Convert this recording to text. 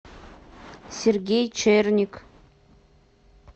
сергей черник